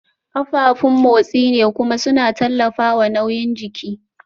Kafafun motsi ne kuma suna tallafawa nauyin jiki